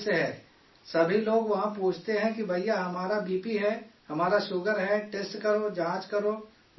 سبھی لوگ وہاں پوچھتے ہیں کہ بھیا ہمارا بی پی ہے، ہمارا شوگر ہے، ٹیسٹ کرو، جانچ کرو، دوا بتاؤ